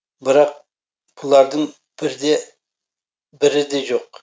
бірақ бұлардың бірі де жоқ